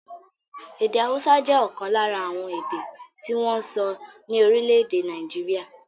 Èdè haúsá jẹ́ ọ̀kan lára àwọn èdè tí wọ́n ń sọ ní orílẹ̀-èdè Nàìjíríà.